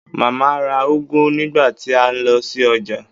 Màmá ra úgú nígbà tí a lọ sí ọjà